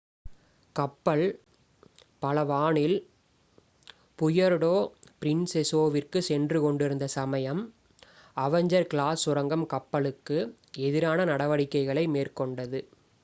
கப்பல் பலவானில் புயர்டோ பிரின்செசாவிற்குச் சென்று கொண்டிருந்த சமயம் அவெஞ்சர் கிளாஸ் சுரங்கம் கப்பலுக்கு எதிரான நடவடிக்கைகளை மேற்கொண்டது